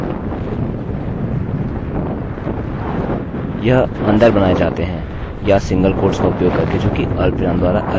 यह अंदर बनाये जाते हैं या सिंगल कोट्स का उपयोग करके जो कि अल्पविराम द्वारा अलग किये गये हैं